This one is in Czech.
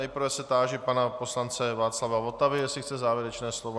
Nejprve se táži pana poslance Václava Votavy, jestli chce závěrečné slovo.